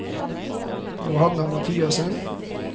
Johanna Mathiassen